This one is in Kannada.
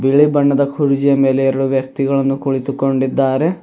ಬಿಳಿ ಬಣ್ಣದ ಕುರ್ಜಿಯ ಮೇಲೆ ಎರಡು ವ್ಯಕ್ತಿಗಳು ಕುಳಿತುಕೊಂಡಿದ್ದಾರೆ.